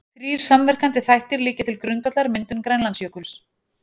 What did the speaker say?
Þrír samverkandi þættir liggja til grundvallar myndun Grænlandsjökuls.